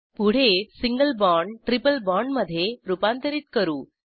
पुढे single bond triple बाँडमधे रूपांतरित करू